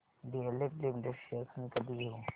DLF limited shares मी कधी घेऊ